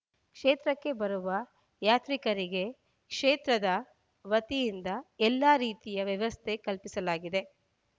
ಕ್ಷೇತ್ರಕ್ಕೆ ಬರುವ ಯಾತ್ರಿಕರಿಗೆ ಕ್ಷೇತ್ರದ ವತಿಯಿಂದ ಎಲ್ಲಾ ರೀತಿಯ ವ್ಯವಸ್ಥೆ ಕಲ್ಪಿಸಲಾಗಿದೆ